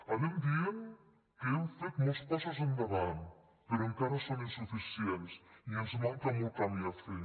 anem dient que hem fet molts passos endavant però encara són insuficients i ens manca molt camí a fer